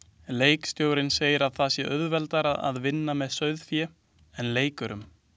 Leikstjórinn segir að það sé auðveldara að vinna með sauðfé en leikurum.